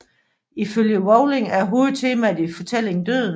Ifølge Rowling er hovedtemaet i fortælling døden